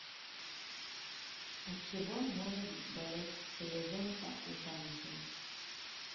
от чего может болеть селезенка у женщин